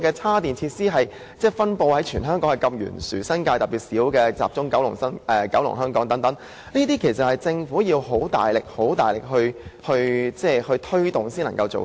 充電設施在香港的分布懸殊，新界數量特別少，只集中於九龍和香港，政府確實需要大力推動才可做到。